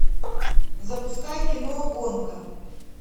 запускай кино гонка